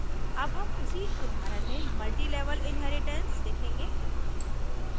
अब हम उसी उदाहरण में multilevel inheritance देखेंगे